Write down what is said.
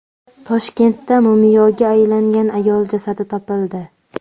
Toshkentda mumiyoga aylangan ayol jasadi topildi.